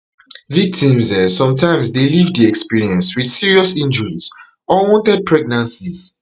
victims um dey sometimes leave di experience wit serious injuries or unwanted pregnancies